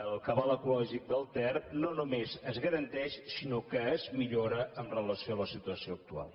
el cabal ecològic del ter no només es garanteix sinó que es millora amb relació a la situació actual